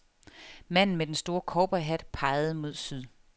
Manden med den store cowboyhat pegede mod syd.